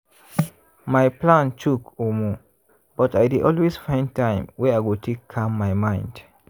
my plan choke omo!!! but i dey always find time wey i go take calm my mind.